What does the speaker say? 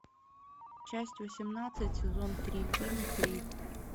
часть восемнадцать сезон три фильм крик